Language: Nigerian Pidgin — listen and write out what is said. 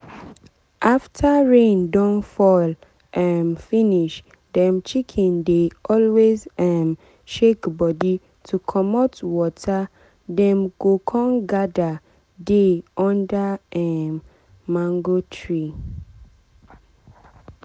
after rain don fall um finishdem chicken dey always um shake body to comot waterdem go con gather dey under um mango tree.